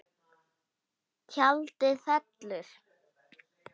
Tjaldið fellur.